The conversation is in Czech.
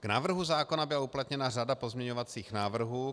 K návrhu zákona byla uplatněna řada pozměňovacích návrhů.